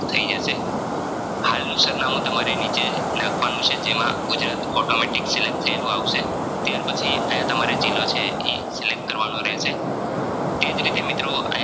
થઇ જશે હાલનું સરનામું તમારે જે નીચે નાખવાનું છે જેમાં ગુજરાત Automatic Select થઈલૂ આવશે ત્યાર પછી આયા જિલ્લો છે ઈ Select કરવાનો રહેશે તેજ રીતે મિત્રો આયા